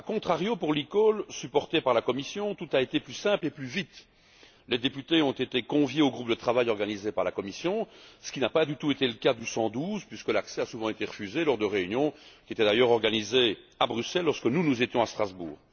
A contrario, pour l'eCall, supporté par la Commission, tout a été plus simple et plus vite. Les députés ont été conviés aux groupes de travail organisés par la Commission, ce qui n'a pas du tout été le cas pour le 112, puisque l'accès leur a souvent été refusé aux réunions, qui étaient d'ailleurs organisées à Bruxelles, lorsque nous étions à Strasbourg.